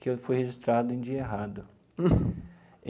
que eu fui registrado em dia errado.